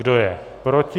Kdo je proti?